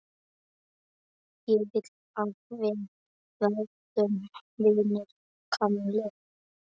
Ég vil að við verðum vinir, Kamilla.